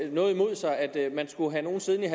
noget imod sig at man skulle have nogen siddende